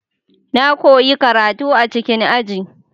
Na koyi karatu a cikin aji.